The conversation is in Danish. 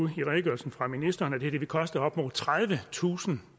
i redegørelsen fra ministeren at det her vil koste op mod tredivetusind